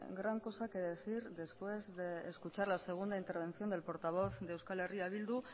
gran cosa que decir después de escuchar la segunda intervención del portavoz de euskal herria bildu